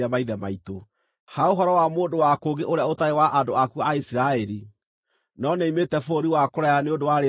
“Ha ũhoro wa mũndũ wa kũngĩ ũrĩa ũtarĩ wa andũ aku a Isiraeli, no nĩoimĩte bũrũri wa kũraya nĩ ũndũ wa Rĩĩtwa rĩaku,